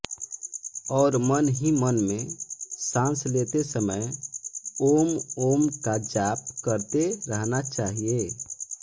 और मन ही मन में साँस लेते समय ॐॐ का जाप करते रहना चाहिए